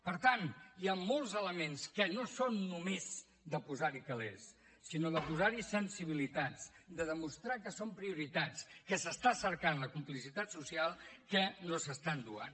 per tant hi ha molts elements que no són només de posar hi calers sinó de posar hi sensibilitats de demostrar que són prioritats que s’està cercant la complicitat social que no s’estan donant